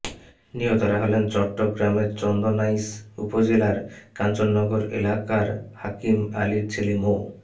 নিহতরা হলেন চট্টগ্রামের চন্দনাইশ উপজেলার কাঞ্চননগর এলাকার হাকিম আলীর ছেলে মো